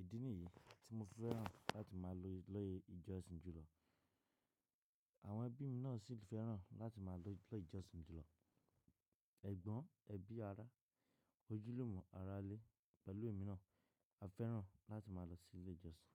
Ìdí nìyí tí mo fẹ́ràn láti máa lọ ilé ìjọsìn jùlọ. Àwọn ẹbí mi náà sì fẹ́ràn láti má a lọ ilé ìjọsìn jùlọ. Ẹ̀gbọ́n, ẹbí, ará, ojúlùmo, arále pẹ̀lú èmi náà, a fẹ́ràn láti máa lọ sí ilé ìjọsìn.